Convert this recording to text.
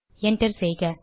enter செய்க